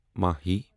ماہی